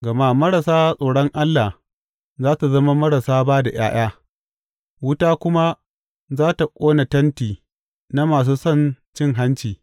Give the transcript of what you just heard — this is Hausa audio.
Gama marasa tsoron Allah za su zama marasa ba da ’ya’ya, wuta kuma za tă ƙona tenti na masu son cin hanci.